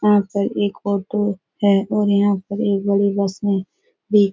यहाँ पर एक ऑटो है और यहाँ पर एक बड़ी बस में भी --